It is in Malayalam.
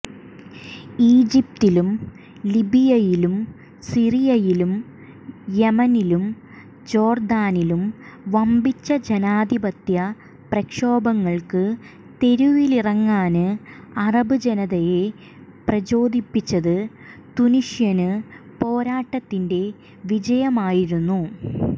ഈജിപ്തിലും ലിബിയയിലും സിറിയയിലും യമനിലും ജോര്ദാനിലും വമ്പിച്ച ജനാധിപത്യ പ്രക്ഷോഭങ്ങള്ക്ക് തെരുവിലിറങ്ങാന് അറബ് ജനതയെ പ്രചോദിപ്പിച്ചത് തുനീഷ്യന് പോരാട്ടത്തിന്റെ വിജയമായിരിന്നു